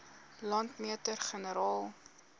landmeter generaal